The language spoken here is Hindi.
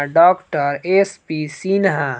doctor S P Sinha